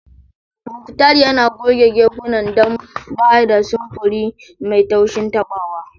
Muktar yana goge gefunan don ba da samfuri mai taushin tabawa.